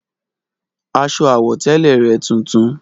Aṣọ àwọ̀tẹ́lẹ̀ rẹ̀ tuntun